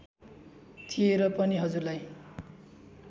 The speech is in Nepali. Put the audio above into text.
थिए र पनि हजुरलाई